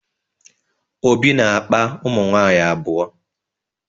Obi na-akpa ụmụnwaanyị abụọ.